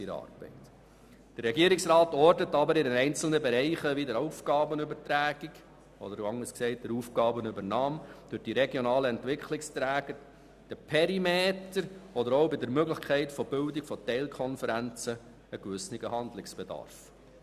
Der Regierungsrat ortet aber in einzelnen Bereichen wie der Aufgabenübernahme durch die regionalen Entwicklungsträger, dem Perimeter oder auch bei der Möglichkeit der Bildung von Teilkonferenzen Handlungsbedarf.